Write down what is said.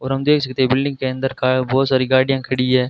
और हम देख सकते हैं बिल्डिंग के अंदर का बहुत सारी गाड़ियां खड़ी है।